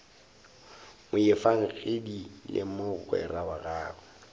moefangedi le mogwera wa gagwe